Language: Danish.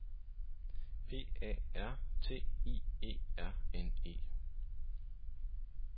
P A R T I E R N E